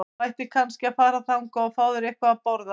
Þú ættir kannski að fara þangað og fá þér eitthvað að borða.